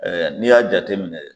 Ɛɛ n'i y'a jateminɛ